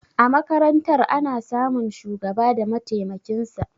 A makarantar ana samun shugaba da matemakinsa